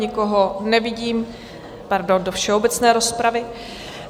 Nikoho nevidím... pardon, do všeobecné rozpravy.